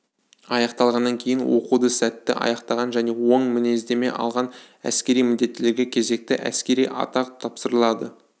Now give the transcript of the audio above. аяқталғаннан кейін оқуды сәтті аяқтаған және оң мінездеме алған әскери міндеттілерге кезекті әскери атақ тапсырылады